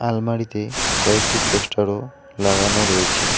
আলমারিতে কয়েকটি পোস্টারও লাগানো রয়েছে।